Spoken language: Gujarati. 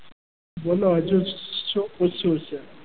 બોલો હજુ શું પૂછવું છે.